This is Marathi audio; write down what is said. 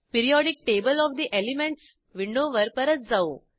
periodic table of the elements विंडोवर परत जाऊ